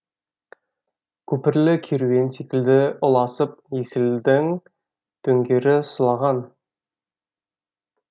көпірлі керуен секілді ұласып есілдің дөңдері сұлаған